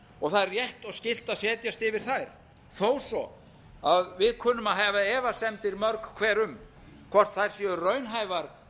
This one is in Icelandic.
og það er rétt og skylt að setjast yfir þær þó svo að við kunnum að hafa efasemdir mörg hver um hvort þær séu raunhæfar